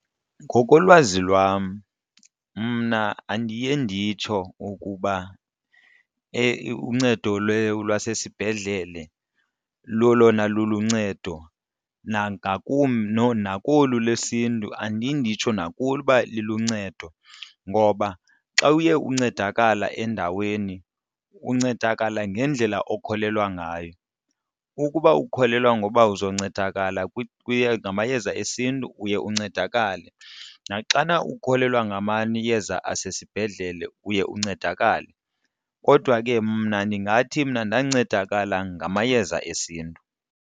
Ngokolwazi lwam mna andiye nditsho ukuba uncedo lwasesibhedlele lolona luluncedo nakolu lesiNtu andiye nditsho nakuloo uba liluncedo. Ngoba xa uye uncedakala endaweni uncedakala ngendlela okholelwa ngayo. Ukuba ukholelwa ngoba uzoncedakala ngamayeza esiNtu uye uncedakale naxana ukholelwa ngamayeza asesibhedlele uye uncedakale. Kodwa ke mna ndingathi mna ndancedakala ngamayeza esiNtu.